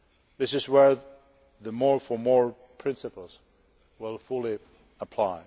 This is where the more for more' principle will fully apply.